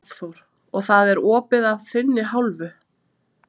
Hafþór: Og það er opið af þinni hálfu?